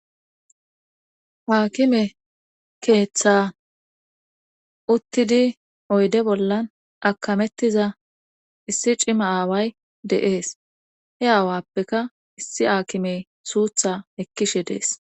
haakime keeththa uttidi oyde bollan akamettiza issi cima aaway dee'es he aawappeka issi aakime suutha ekkishe dees